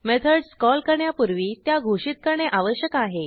methods call करण्यापूर्वी त्या घोषित करणे आवश्यक आहे